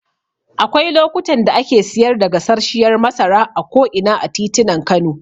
Akwai lokutan da ake siyar da gasarshiyar masara a ko'ina a titunan Kano.